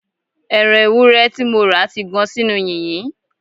Ẹ̀ran ewúrẹ́ tí mo rà ti gan sínú yìnyín